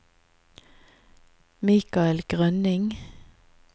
Mikael Grønning